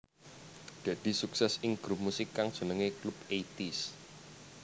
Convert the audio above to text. Deddy sukses ing grup musik kang jenengé Clubeighties